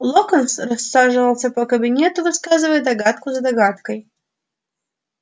локонс рассаживался по кабинету высказывая догадку за догадкой